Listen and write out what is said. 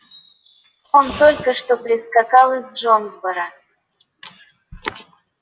он только что прискакал из джонсборо